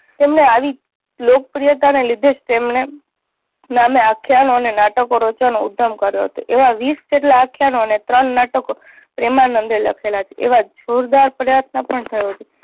તેમણે આવી લોકપ્રિયતા ને લીધે જ તેમણે નામે આખ્યાનો અને નાટકો રચવાનું ઉધમ કર્યો હતો. એવા વીસ જેટલા આખ્યાનો અને ત્રણ નાટકો પ્રેમાનંદે લખેલા છે એવા જોરદાર પ્રયત્ન પણ થયો છે.